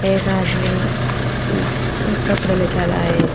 एक आदमी उम्म कपड़े ले जा रहा है।